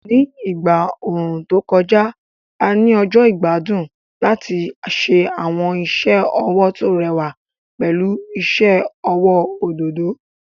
Ní ìgbà ooru tó kọjá, a ní ọjọ́ ìgbádùn láti ṣe àwọn iṣẹ́ ọwọ́ tó rẹwà pẹ̀lú iṣẹ́ ọwọ́ òdòdó.